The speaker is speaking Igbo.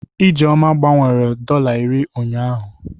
Ijeoma gbanwere dọla iri ụnyahụ.